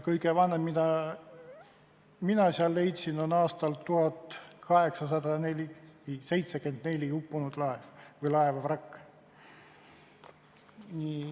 Kõige vanem, mille mina sealt leidsin, on aastal 1874 uppunud laeva vrakk.